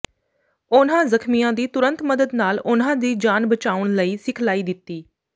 ਉਨ੍ਹਾਂ ਜ਼ਖ਼ਮੀਆਂ ਦੀ ਤੁਰੰਤ ਮਦਦ ਨਾਲ ਉਨ੍ਹਾਂ ਦੀ ਜਾਨ ਬਚਾਉਣ ਲਈ ਸਿਖਲਾਈ ਦਿੱਤੀ